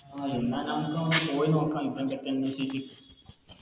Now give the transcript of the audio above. ആ എന്നാ നമുക്കവിടെ പോയി നോക്കാം